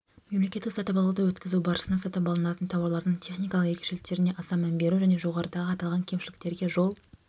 мемлекеттік сатып алуды өткізу барысында сатып алынатын тауарлардың техникалық ерекшеліктеріне аса мән беру және жоғарыдағы аталған кемшіліктерге жол